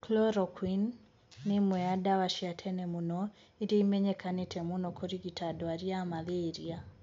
Chloroquine ni imwe ya dawa cia tene mũno iria imenyekanite mũno kurigita ndwari ya malaria.